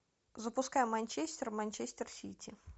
запускай манчестер манчестер сити